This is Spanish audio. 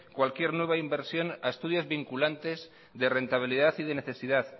cualquier nueva inversión a estudios vinculantes de rentabilidad de necesidad